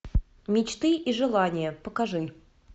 мечты и желания покажи